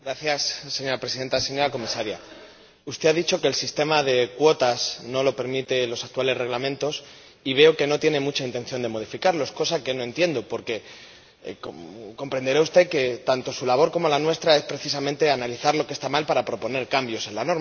Señora Presidenta, señora Comisaria, usted ha dicho que el sistema de cuotas no lo permiten los actuales reglamentos y veo que no tiene mucha intención de modificarlos, cosa que no entiendo, porque comprenderá usted que tanto su labor como la nuestra es precisamente analizar lo que está mal para proponer cambios en la norma.